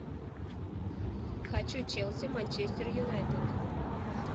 хочу челси манчестер юнайтед